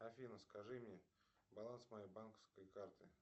афина скажи мне баланс моей банковской карты